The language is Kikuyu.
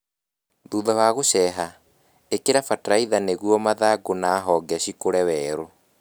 hutha wa gũceha, ĩkĩra bataraitha nĩguo mathangũ na honge cikũre werũ